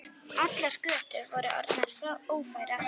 Allar götur voru orðnar ófærar.